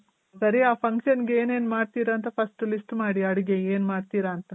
ಸರಿ ಆ function ಗೆ ಏನೇನ್ ಮಾಡ್ತಿರ ಅಂತ first list ಮಾಡಿ ಅಡ್ಗೆಗೆ ಏನ್ ಮಾಡ್ತಿರ ಅಂತ.